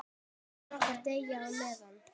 Börnin okkar deyja á meðan.